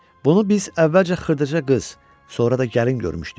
Bunu biz əvvəlcə xırdaca qız, sonra da gəlin görmüşdük.